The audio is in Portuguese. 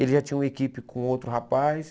Ele já tinha uma equipe com outro rapaz.